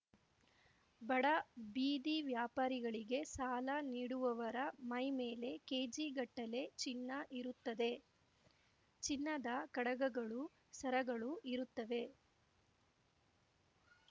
ಬಡ ಬೀದಿ ವ್ಯಾಪಾರಿಗಳಿಗೆ ಸಾಲ ನೀಡುವವರ ಮೈಮೇಲೆ ಕೇಜಿಗಟ್ಟಲೆ ಚಿನ್ನ ಇರುತ್ತದೆ ಚಿನ್ನದ ಕಡಗಗಳು ಸರಗಳು ಇರುತ್ತವೆ